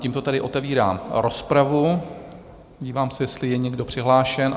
Tímto tedy otevírám rozpravu, podívám se, jestli je někdo přihlášen.